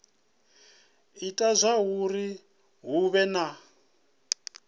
ita zwauri hu vhe na